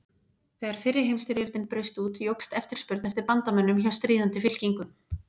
Þegar fyrri heimstyrjöldin braust út jókst eftirspurn eftir bandamönnum hjá stríðandi fylkingum.